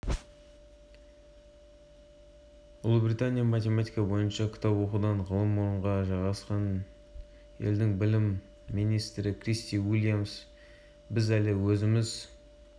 аталған рейтингте пен ұлыбритания да биіктен көріне алмапты американың көрсеткіштері орында тұрғаны туралы білім министрі джон